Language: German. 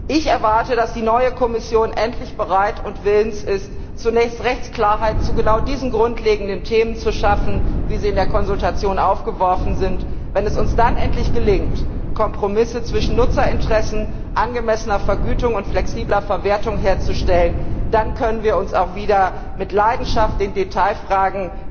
Ich erwarte, dass die neue Kommission endlich bereit und willens ist, zunächst Rechtsklarheit zu genau diesen grundlegenden Themen zu schaffen, wie sie in der Konsultation aufgeworfen werden. Wenn es uns dann endlich gelingt, Kompromisse zwischen Nutzerinteressen, angemessener Vergütung und flexibler Verwertung herzustellen, dann können wir uns auch wieder mit Leidenschaft den Detailfragen